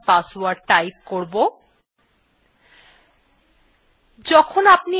আমি এখানে আমার system এর বর্তমান password টাইপ করব